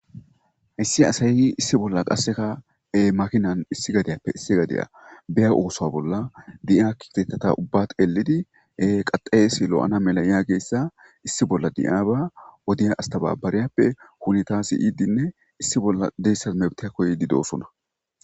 Issi asay issi bola qasekka makinan issi gadiyappe issi gadiya biya osuwa bola deyiya kifteteta ubba xelidi kaxayessi lo'na mela yageyssa issi bola deyaba astebabariyappe huneta siyidi issi bola mawtte koyidi dossona.